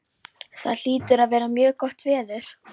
Það hlýtur að vera mjög gott veður.